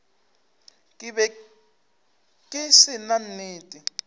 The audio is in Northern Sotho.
be ke se na nnete